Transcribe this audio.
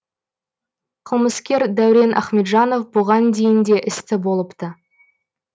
қылмыскер дәурен ахметжанов бұған дейін де істі болыпты